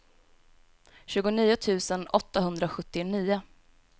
tjugonio tusen åttahundrasjuttionio